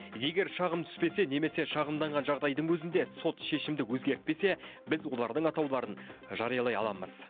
егер шағым түспесе немесе шағымданған жағдайдың өзінде сот шешімді өзгертпесе біз олардың атауларын жариялай аламыз